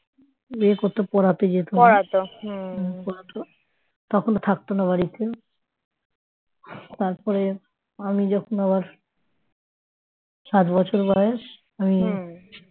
বিয়ে করে পড়াতে যেত তখন থাকতো না বাড়িতে তারপরে আমি যখন আমার যখন সাত বছর বয়স